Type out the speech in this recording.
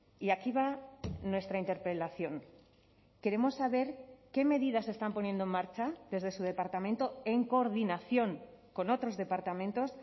y aquí va nuestra interpelación queremos saber qué medidas se están poniendo en marcha desde su departamento en coordinación con otros departamentos